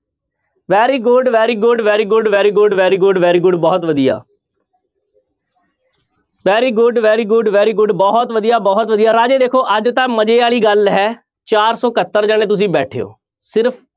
Very good, very good, very good, very good, very good, very good ਬਹੁਤ ਵਧੀਆ very good, very good, very good ਬਹੁਤ ਵਧੀਆ ਬਹੁਤ ਵਧੀਆ ਰਾਜੇ ਦੇਖੋ ਅੱਜ ਤਾਂ ਮਜ਼ੇ ਵਾਲੀ ਗੱਲ ਹੈ ਚਾਰ ਸੌ ਇਕਹੱਤਰ ਜਾਣੇ ਤੁਸੀਂ ਬੈਠੇ ਹੋ ਸਿਰਫ਼